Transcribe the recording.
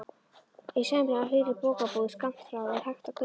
Í sæmilega hlýrri bókabúð skammt frá er hægt að kaupa